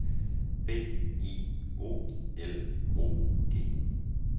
B I O L O G